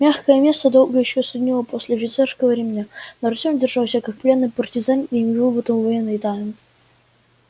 мягкое место долго ещё саднило после офицерского ремня но артем держался как пленный партизан и не выболтал военной тайны